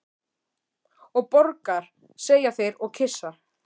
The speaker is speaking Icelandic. Og borgar, segja þeir og kyssa.